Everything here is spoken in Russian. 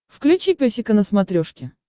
включи песика на смотрешке